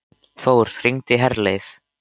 Þór, hringdu í Herleif.